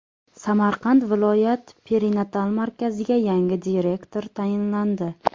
Samarqand viloyat perinatal markaziga yangi direktor tayinlandi.